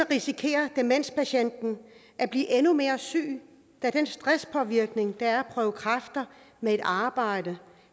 risikerer demenspatienten at blive endnu mere syg da den stresspåvirkning det er at prøve kræfter med et arbejde